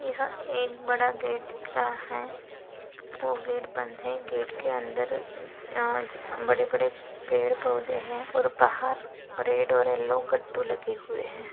यहा एक बड़ा गेट दिख रहा है वो गेट बंद है गेट के अंदर अ बड़े बड़े पेड़ पौधे है और बाहर रेड और येल्लो गट्टू लगे हुए है।